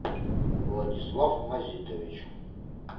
владислав мазитович